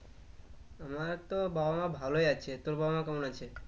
আমার তো বাবা মা ভালোই আছে তোর বাবা মা কেমন আছে?